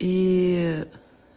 и